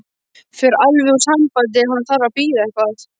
Fer alveg úr sambandi ef hann þarf að bíða eitthvað.